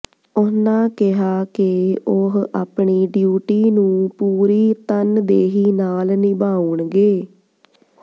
ਉਨ੍ਹਾਂ ਕਿਹਾ ਕਿ ਉਹ ਆਪਣੀ ਡਿਊਟੀ ਨੂੰ ਪੂਰੀ ਤਨਦੇਹੀ ਨਾਲ ਨਿਭਾਉਣਗੇ